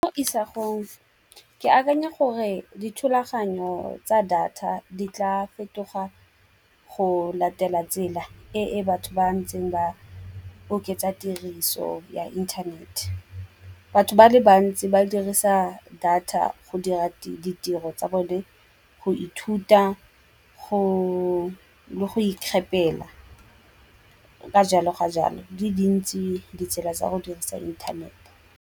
Mo isagong ke akanya gore dithulaganyo tsa data di tla fetoga go latela tsela e e batho ba ntseng ba oketsa tiriso ya inthanete. Batho ba le bantsi ba dirisa data go dira ditiro tsa bone go ithuta le go ikgapela, ka jalo ka jalo di dintse ditsela tsa go dirisa inthanete.